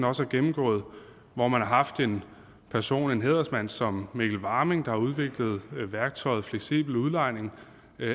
også har gennemgået hvor man har haft en person en hædersmand som mikkel warming der har udviklet værktøjet fleksibel udlejning